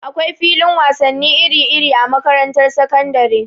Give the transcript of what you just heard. Akwai filin wasannin iri-iri a makarantar sakandare.